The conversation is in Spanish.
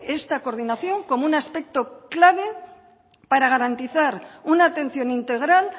esta coordinación como un aspecto clave para garantizar una atención integral